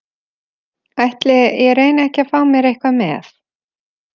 Ætli ég reyni ekki að fá mér eitthvað með.